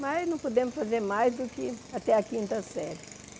Mas não pudemos fazer mais do que até a quinta série.